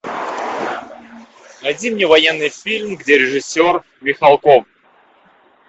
найди мне военный фильм где режиссер михалков